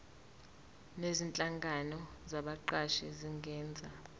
nezinhlangano zabaqashi zingenza